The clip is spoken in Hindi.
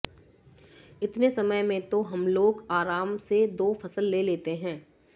इतने समय में तो हमलोग आराम से दो फसल ले लेते हैं